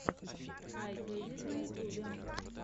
ай кедит на ютьюбе